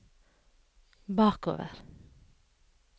bakover